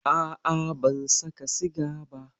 A'a, ban saka siga ba.